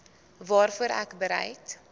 waarvoor ek bereid